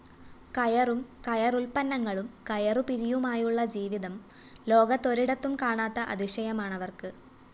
കയറും കയറുല്‍പ്പന്നങ്ങളും കയറുപിരിയുമായുള്ള ജീവിതം ലോകത്തൊരിടത്തും കാണാത്ത അതിശയമാണവര്‍ക്ക്‌